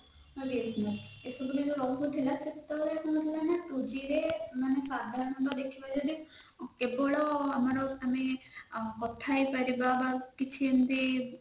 ଯେତେବେଳେ ରହୁନଥିଲା ସେତେବେଳେ କଣ ହଉଥିଲାନା two g ରେ କେବଳ ଆମେ କଥା ହେଇପାରିବା ବା କିଛି ଏମିତି